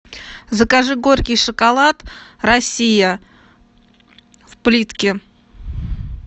закажи горький шоколад россия в плитке